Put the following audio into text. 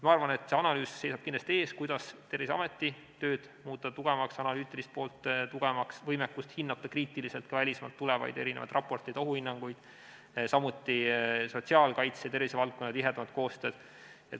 Ma arvan, et see analüüs seisab kindlasti ees, kuidas Terviseameti tööd ja analüütilist poolt muuta tugevamaks, parandada võimekust hinnata kriitiliselt ka välismaalt tulevaid raporteid, ohuhinnanguid, samuti muuta sotsiaalkaitse ja tervishoiuvaldkonna koostööd tihedamaks.